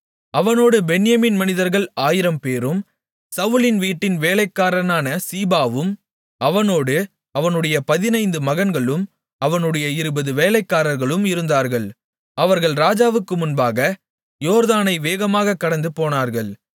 அவனோடு பென்யமீன் மனிதர்கள் ஆயிரம்பேரும் சவுலின் வீட்டின் வேலைக்காரனான சீபாவும் அவனோடு அவனுடைய பதினைந்து மகன்களும் அவனுடைய இருபது வேலைக்காரர்களும் இருந்தார்கள் அவர்கள் ராஜாவுக்கு முன்பாக யோர்தானை வேகமாகக் கடந்து போனார்கள்